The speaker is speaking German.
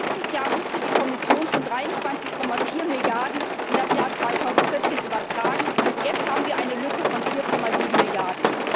Letztes Jahr musste die Kommission schon 23,4 Milliarden in das Jahr 2014 übertragen, und jetzt haben wir eine Lücke von 4,7 Milliarden.